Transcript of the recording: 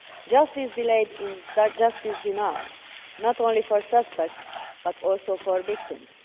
Justice delayed is justice denied, not only for suspects but also for victims.